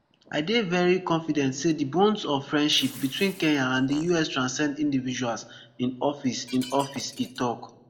i dey very confident say di bones of friendship between kenya and di us transcend individuals in office in office e tok